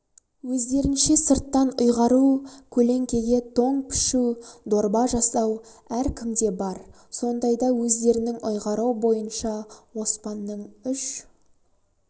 өздерінше сырттан ұйғару көлеңкеге тоң пішу дорба жасау әркімде бар сондайда өздерінің ұйғаруы бойынша оспанның үш